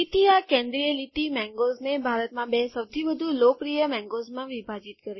તેથી આ કેન્દ્રિય લીટી મેન્ગોઝ ને ભારતમાં બે સૌથી વધુ લોકપ્રિય મેન્ગોઝમાં વિભાજીત કરે છે